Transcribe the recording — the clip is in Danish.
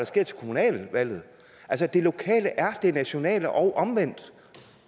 sker til kommunalvalget altså det lokale er det nationale og omvendt